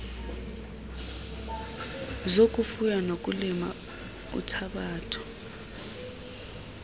zokufuya nokulima uthabatho